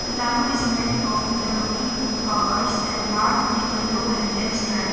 The tarmac is made of interlocking powers and marked with yellow and black stripes.